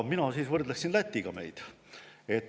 Mina võrdlen meid Lätiga.